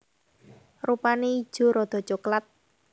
Rupane ijo rada coklat